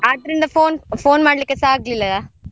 ಆದ್ರಿಂದ phone, phone ಮಾಡ್ಲಿಕ್ಕೆಸಾ ಆಗ್ಲಿಲ್ಲ.